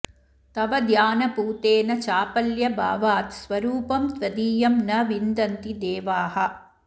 तव ध्यानपूतेन चापल्यभावात् स्वरूपं त्वदीयं न विन्दन्ति देवाः